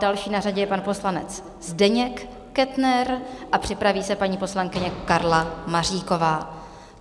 Další na řadě je pan poslanec Zdeněk Kettner a připraví se paní poslankyně Karla Maříková.